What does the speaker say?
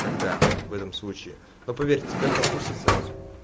тогда в этом случае но поверь тебя попустит сразу